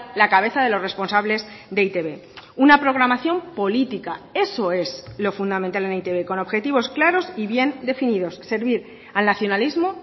la cabeza de los responsables de e i te be una programación política eso es lo fundamental en e i te be con objetivos claros y bien definidos servir al nacionalismo